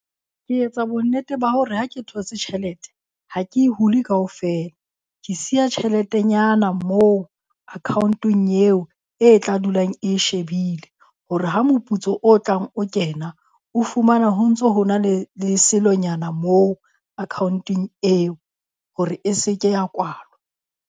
Ke etsa bonnete ba hore ha ke thotse tjhelete ha ke e hule kaofela. Ke siya tjheletenyana moo account-ong eo, e tla dulang e shebile hore ha moputso o tlang o kena, o fumana ho ntso ho na le le selonyana moo account-eng eo hore e se ke ya kwalwa.